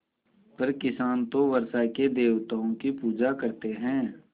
पर किसान तो वर्षा के देवताओं की पूजा करते हैं